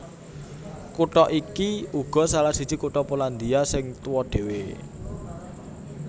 Kutha iki uga salah siji kutha Polandia sing tuwa dhéwé